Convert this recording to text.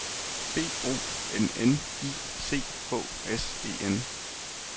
B O N N I C H S E N